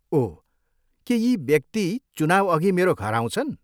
ओह, के यी व्यक्ति चुनाउअघि मेरो घर आउँछन्?